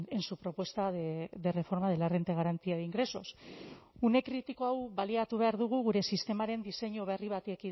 en su propuesta de reforma de la renta de garantía de ingresos une kritiko hau baliatu behar dugu gure sistemaren diseinu berri bati